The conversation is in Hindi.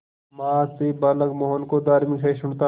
मां से बालक मोहन को धार्मिक सहिष्णुता